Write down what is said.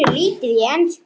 Hann kunni lítið í ensku.